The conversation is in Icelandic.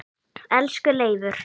Elsku Leifur.